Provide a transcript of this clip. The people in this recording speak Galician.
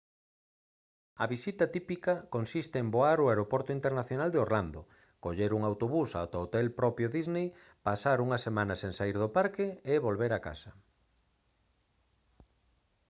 a visita «típica» consiste en voar ao aeroporto internacional de orlando coller un autobús ata o hotel no propio disney pasar unha semana sen saír do parque e volver a casa